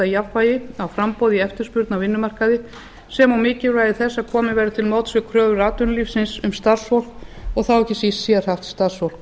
jafnvægi á framboði í eftirspurn á vinnumarkaði sem og mikilvægi þess að komið verði til móts við kröfur atvinnulífsins um starfsfólk og þá ekki síst sérhæft starfsfólk